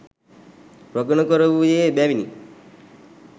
ප්‍රගුණ කරවූයේ එබැවිනි.